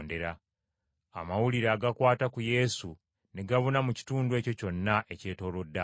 Amawulire agakwata ku Yesu ne gabuna mu kitundu ekyo kyonna ekyetoolodde awo.